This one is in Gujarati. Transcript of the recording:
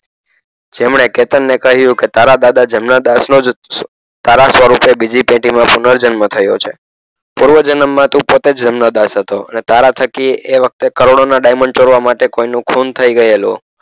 જેમણે કેતનને કહ્યું કે તારા દાદા જમનાદાસ નોજ તારા સ્વરૂપે બીજી પેઢીમાં પુનર જન્મ થયો છે પુર્વજન્મમાં તું પોતે જ જમનાદાસ હતો અને તારા થકી એ વખતે કરોડોના diamond ચોરવા માટે કોઈનું ખૂન થઈ ગયેલું